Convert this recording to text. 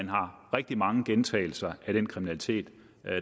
rigtig mange gentagelser af den kriminalitet